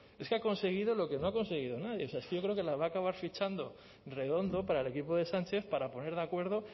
es que ha conseguido lo que no ha conseguido nadie es que yo creo que la va a acabar fichando redondo para el equipo de sánchez para poner de acuerdo